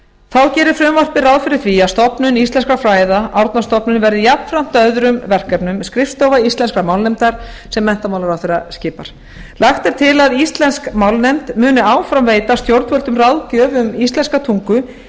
þá gerir frumvarpið ráð fyrir því að stofnun íslenskra fræða árnastofnun verði jafnframt öðrum verkefnum skrifstofa íslenskrar málnefndar sem menntamálaráðherra skipar lagt er til að íslensk málnefnd muni áfram veita stjórnvöldum ráðgjöf um íslenska tungu en